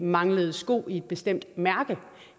mangler sko i et bestemt mærke